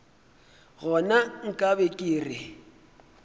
gona nka be ke re